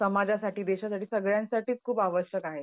समाजासाठी, देशासाठी, सगळ्यांसाठी खूप आवश्यक आहे.